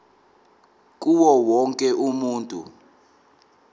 kuwo wonke umuntu